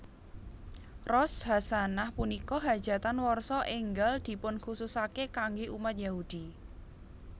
Rosh hasanah Punika hajatan warsa enggal dipunkhususake kangge umat Yahudi